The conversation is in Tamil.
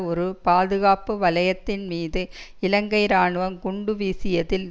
ஒரு பாதுகாப்பு வலயத்தின் மீது இலங்கை இராணுவம் குண்டு வீசியதில்